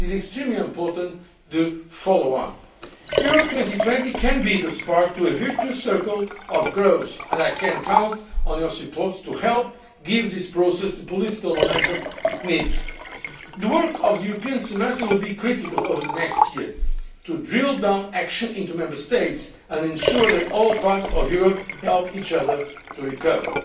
It is extremely important to follow on. Europe 2020 can be the spark to a virtuous circle of growth, and I can count on your support to help give this process the political momentum it needs. The work of the European semester will be critical over the next year, to drill down action into Member States and ensure that all parts of Europe help each other to